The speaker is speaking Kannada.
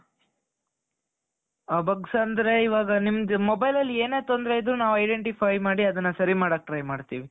ಆ bugs ಅಂದ್ರೆ ಇವಾಗ ನಿಮ್ಗೆ mobileಅಲ್ಲಿ ಏನೇ ತೊಂದ್ರೆ ಇದ್ದರು ನಾವ್ identify ಮಾಡಿ ಅದನ್ನ ಸರಿ ಮಾಡಕ್ಕೆ try ಮಾಡ್ತೀವಿ .